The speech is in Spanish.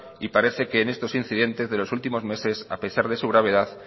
y para que en estos incidentes de los últimos meses a pesar de su gravedad